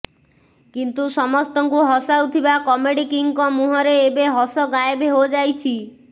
କିନ୍ତୁ ସମସ୍ତଙ୍କୁ ହସାଉଥିବା କମେଡି କିଙ୍ଗଙ୍କ ମହୁଁରେ ଏବେ ହସ ଗାଏବ ହୋଯାଇଛି